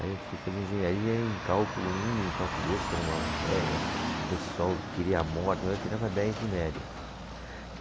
Aí eu fui fazer engenharia em cálculo um, em cálculo dois, que era uma matéria que o pessoal queria a morte, mas eu tirava dez de média.